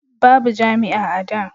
babu jami'a a da